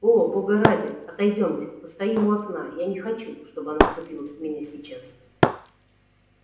о бога ради отойдёмте постоим у окна я не хочу чтобы она вцепилась в меня сейчас